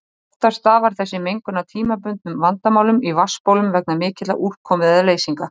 Oftast stafar þessi mengun af tímabundnum vandamálum í vatnsbólum vegna mikillar úrkomu eða leysinga.